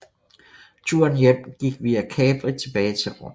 Turen hjem gik via Capri tilbage til Rom